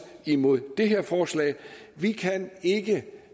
imod det her forslag vi kan ikke